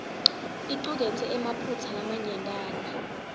icuketse emaphutsa lamanyentana